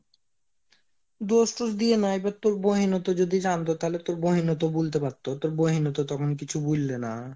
দোষ টোস দিয়ে না এবার তোর বইন ও তো যদি জানত, তাহলে বোইন ও তো বুলতে পারতো, বোইন ও তো তখন কিছু বুললে না